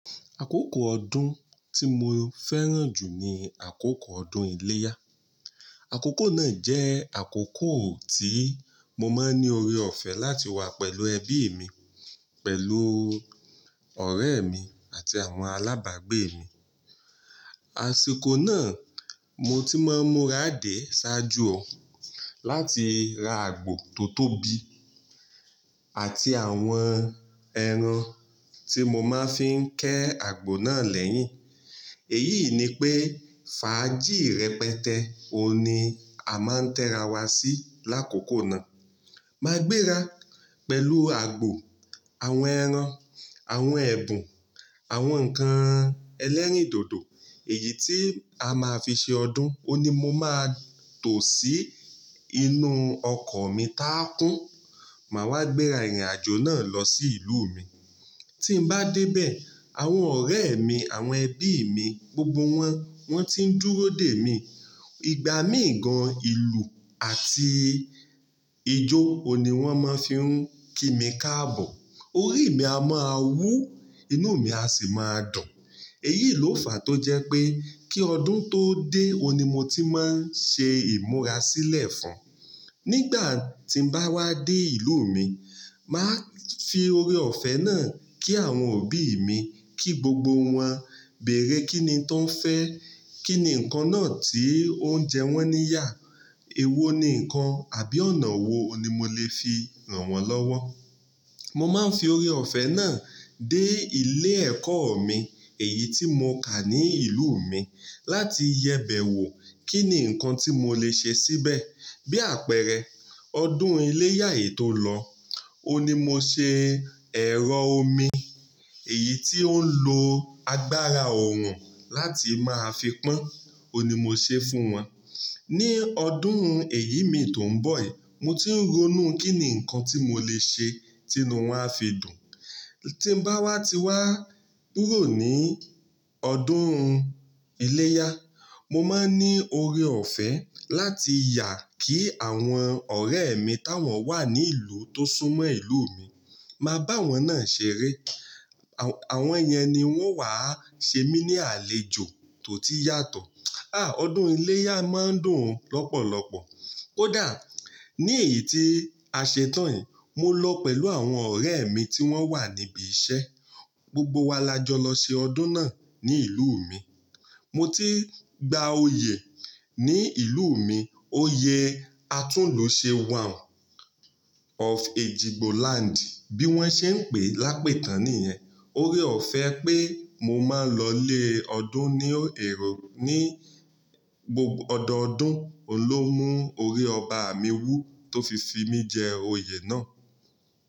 Àkókò ọdún tí mo fẹ́ràn jù ni àkókò ọdún iléyá. Àkókò náà jẹ́ àkókò tí mo máa ń ní ore ọ̀fẹ́ láti wá pẹ̀lú ẹbí mi, pẹ̀lú ọ̀rẹ́ mi àti àwọn alábàgbé mi. Àsìkò náà mo ti máa ń múra dé ṣáájú ọ, láti ra àgbò tó tóbi àti àwọn ẹran tí mo máa ń fi ń ké àgbò náà lẹ́yìn. Èyí ni pé fàájì rẹpẹtẹ òní a máa ń tẹra wá sí lákòókò náà. Máa gbéra pẹ̀lú àgbò, àwọn ẹran, àwọn ẹ̀bùn, àwọn ǹkan ẹlẹ́rìndòdò, èyí tí a máa fi ṣe ọdún, òní mo máa tò sí inú ọkọ̀ mi tá kún, màá wá gbéra ìrìnàjò náà lọ sí ìlú mi. Tí n bá dé bẹ, àwọn ọ̀rẹ́ mi, àwọn ẹbí mi, gbogbo wọn, wọ́n ti ń dúró dè mí. Ìgbà míì gan ìlù àti ijó òní wọ́n máa ń fi ń kí mi káàbọ̀. Orí mi a máa wú, inú mi a sì máa dùn. Èyí ló fàá tó jẹ́ pé kí ọdún tó dé, òní mo ti máa ń ṣe ìmúra sílẹ̀ fún. Nígbà tí n bá wá dé ìlú mi, màá fi ore ọ̀fẹ́ náà kí àwọn òbí mi kí gbogbo wọn, bèèrè kín ni tó ń fẹ́, kín ni ǹkan náà tí oúnjẹ wọ́n níyà, èwo ni ǹkan àbí ọ̀nà wo ni mo lè fi ran wọ́n lọ́wọ́. Mo máa ń fi ore ọ̀fẹ́ náà dé ilé ẹ̀kọ́ mi èyí tí mo kà ní ìlú mi láti yẹ bẹ̀ wò kín ni ǹkan tí mo lè ṣe síbẹ̀. Bí àpẹẹrẹ, ọdún iléyá yìí tó lọ, òní mo ṣe ẹ̀rọ omi èyí ti óń lo agbára òòrùn láti máa fi pọ́n, òní mo ṣe fún wọn. Ni ọdún èyí mi tó ń bọ̀ yìí, mo ti ń ronú kín ni ǹkan tí mo lè ṣe tí wọn a fi dùn. Tí n bá wá ti wá kúrò ní ọdún iléyá, mo máa ń ní ore ọ̀fẹ́ láti yà kí àwọn ọ̀rẹ́ mi táwọn wà ní ìlú tó súnmọ́ ìlú mi, máa bá wọn náà ṣeré. Àwọn yen ni wọ́n wá ṣe mí ní àlejò tó ti yàtọ̀. Ààh! Ọdún iléyá máa ń dùn lọ́pọ̀lọpọ̀. Ó dà, ní èyí tí a ṣe tán yìí, mo lọ pẹ̀lú àwọn ọ̀rẹ́ mi tí wọ́n wà níbi iṣẹ́, gbogbo wa la jọ lọ ṣe ọdún náà ní ìlú mi. Mo ti gba oyè ní ìlú mi, oyè Atúnlùṣe One of Ejigbo land bí wọ́n ṣe ń pè lápé tán nìyẹn. Ore ọ̀fẹ́ pé mo máa ń lọ lé ọdún ní èrò ní gbogbo ọdọọdún, òun ló mú ori ọba mi wú tó fi fi mí jẹ oyè náà.